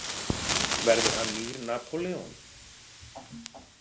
Verður hann nýr Napóleon?